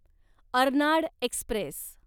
Arnad Express